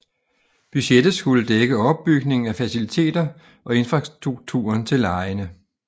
Budgettet skulle dække opbygning af faciliteter og infrastrukturen til legene